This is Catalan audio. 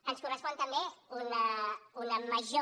ens correspon també una major